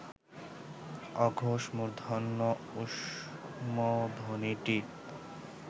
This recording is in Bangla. অঘোষ মূর্ধন্য ঊষ্মধ্বনিটি